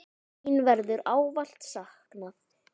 Þín verður ávallt saknað.